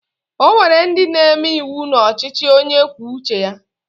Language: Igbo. O nwere ndị na-eme iwu n'ọchịchị onye kwuo uche ya?